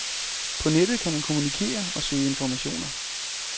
På nettet kan man kommunikere og søge informationer.